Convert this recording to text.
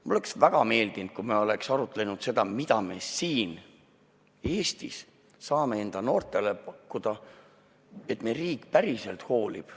Mulle oleks väga meeldinud, kui me oleks arutlenud selle üle, mida me siin Eestis saame oma noortele pakkuda, näidates, et meie riik päriselt hoolib.